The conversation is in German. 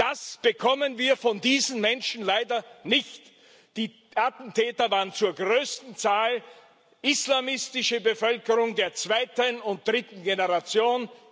Das bekommen wir von diesen Menschen leider nicht. Die Attentäter waren zur größten Zahl islamistische Bevölkerung der zweiten und dritten Generation.